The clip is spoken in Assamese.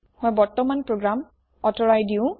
মই বৰ্তমান প্ৰোগ্ৰাম কাটি দিওঁ